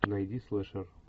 найди слэшер